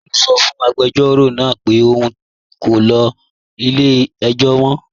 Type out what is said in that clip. Paul sọ́ fún agbẹjọro náà pẹ̀ ọun kò lè gbà ìwé-ẹ̀rí latí ilẹ̀-ẹ̀jọ̀ lánà